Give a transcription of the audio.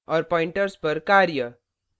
और pointers पर कार्य